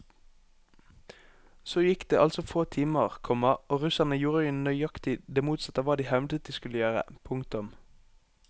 Så gikk det altså få timer, komma og russerne gjorde nøyaktig det motsatte av hva de hevdet de skulle gjøre. punktum